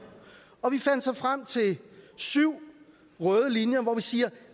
og vi fandt så frem til syv røde linjer hvor vi siger